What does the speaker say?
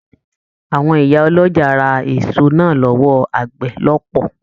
Àwọn ìyá ọlọ́jà ra èso náà l'ọwọ àgbẹ̀ lọpọ.